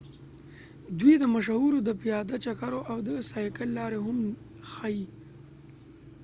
دوی د مشهورو د پیاده چکرو او د سایکل لارې هم ښيي